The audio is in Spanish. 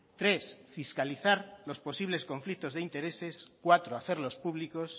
tres fiscalizar los posibles conflictos de intereses cuatro hacerlos públicos